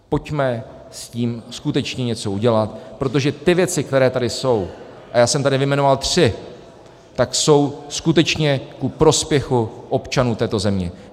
Pojďme s tím skutečně něco udělat, protože ty věci, které tady jsou, a já jsem tady vyjmenoval tři, tak jsou skutečně ku prospěchu občanů této země.